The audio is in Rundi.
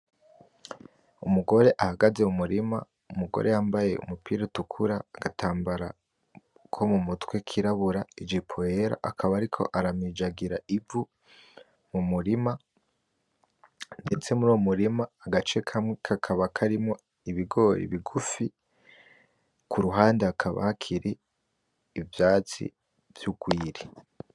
Umugore ahagaze mu murima, umugore yambaye umupira utukura, agatambara mumutwe kirabura, ijipo yera akaba ariko aramijagira Ivu mu murima ndetse muruwo murima agace kamwe kakaba karimwo Ibigori ibigufi Kuruhande hakaba hakiri ivyatsi vy'urwiri.